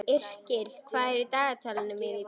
Yrkill, hvað er í dagatalinu mínu í dag?